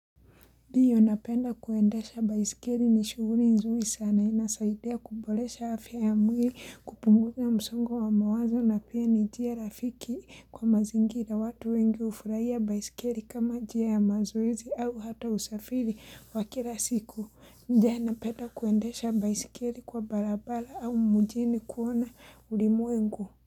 Diyo napenda kuendesha baiskeri ni shuhuli nzuri sana. Inasaidia kubolesha afya ya mwili kupunguza msungo wa mawazo na pia ni njia rafiki kwa mazingira. Watu wengi ufurahia baiskeri kama njia ya mazoezi au hata usafiri wa kila siku. Ndea napenda kuendesha baiskeri kwa balabala au mujini kuona ulimuengu.